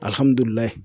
Alihamudulila